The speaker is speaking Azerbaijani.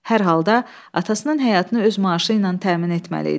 Hər halda atasının həyatını öz maaşı ilə təmin etməli idi.